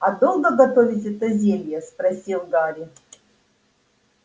а долго готовить это зелье спросил гарри